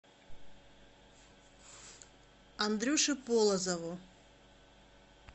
андрюше полозову